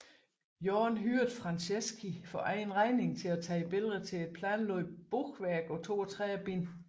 Jorn hyrede Franceschi for egen regning til at tage billeder til et planlagt bogværk på 32 bind